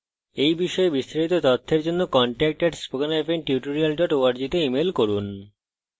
এই বিষয়ে বিস্তারিত তথ্যের জন্য contact @spokentutorial org তে ইমেল করুন